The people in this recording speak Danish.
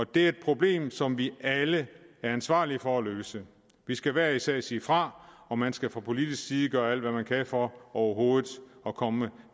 det er et problem som vi alle er ansvarlige for at løse vi skal hver især sige fra og man skal fra politisk side gøre alt hvad man kan for overhovedet at komme